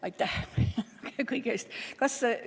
Aitäh kõige eest!